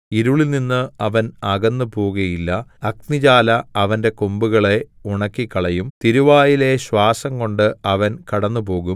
ഇരുളിൽനിന്ന് അവൻ അകന്നു പോകുകയില്ല അഗ്നിജ്വാല അവന്റെ കൊമ്പുകളെ ഉണക്കിക്കളയും തിരുവായിലെ ശ്വാസംകൊണ്ട് അവൻ കടന്നുപോകും